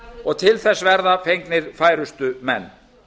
og til þess verða fengnir færustu menn